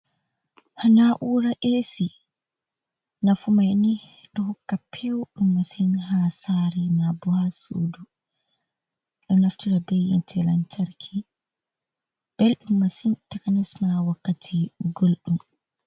Na’ura Esi: Nafu mai ni ɗo hokka pewɗum masin ha sare na bo ha sudu. Ɗo naftara be yite lantarki. Belɗum masin takanasma wakkati gulɗum.